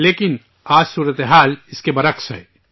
لیکن، آج حالات اس کے برعکس ہیں